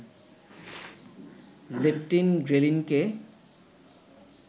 leptin, ঘ্রেলিনকে